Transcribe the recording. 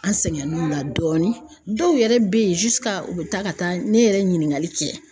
An sɛgɛnn'o la dɔɔni dɔw yɛrɛ be ye u be taa ka taa ne yɛrɛ ɲiningali kɛ